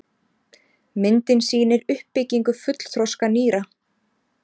Myndin sýnir uppbyggingu fullþroska nýra.